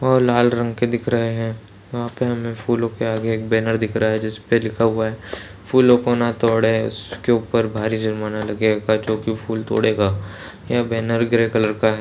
और लाल रंग के दिख रहे है वहाँ पे हमें फूलों के आगे एक बैनर दिख रहा है जिसपे लिखा हुआ है फूलों को ना तोड़े उसके ऊपर भारी जुर्माना लगेगा जो कोई फूल तोड़ेगा यह बैनर ग्रे कलर का हैं।